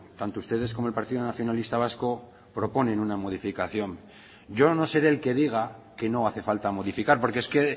tanto ustedes como el partido nacionalista vasco proponen una modificación yo no seré el que diga que no hace falta modificar porque es que